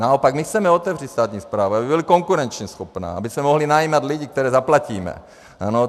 Naopak my chceme otevřít státu správu, aby byla konkurenčně schopná, aby se mohli najímat lidé, které zaplatíme.